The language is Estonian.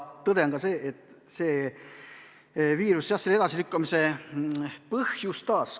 Tõde on ka see, et viirus selle edasilükkamise põhjustas.